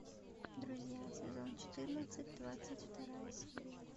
друзья сезон четырнадцать двадцать вторая серия